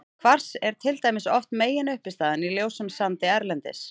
Kvars er til dæmis oft meginuppistaðan í ljósum sandi erlendis.